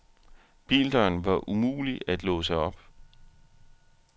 Bildøren var umulig at låse op.